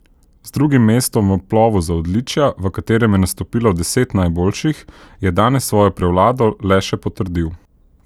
Z drugim mestom v plovu za odličja, v katerem je nastopilo deset najboljših, je danes svojo prevlado le še potrdil.